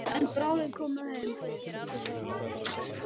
En bráðum komum við heim.